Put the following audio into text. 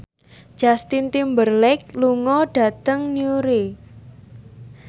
Justin Timberlake lunga dhateng Newry